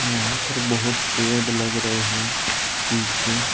यहां पर बहुत पेड़ लग रहे हैं। पीछे --